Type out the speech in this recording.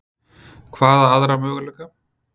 Hvaða aðra möguleika?